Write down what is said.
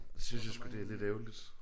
Det synes jeg sgu det er lidt ærgerligt